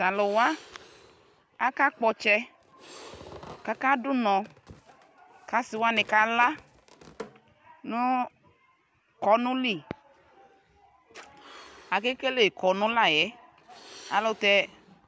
Tɛ alʋwa akakpɔ ɔtsɛ kʋ akadʋnɔ kʋ asiwani kala nʋ kɔnʋ lι Akekele kɔnʋ la yɛ ayʋ ɛlʋtɛ